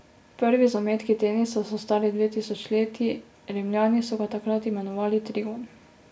Prvi zametki tenisa so stari dve tisočletji, Rimljani so ga takrat imenovali trigon.